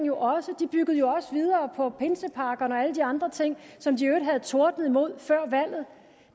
jo også de byggede jo også videre på pinsepakkerne og alle de andre ting som de i øvrigt havde tordnet imod før valget